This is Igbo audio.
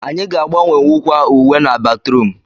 Anyị ga agbanwewukwa uwe na batrum